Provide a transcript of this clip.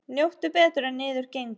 Njóttu betur en niður gengur.